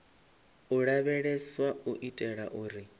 u lavheleswa u itela uri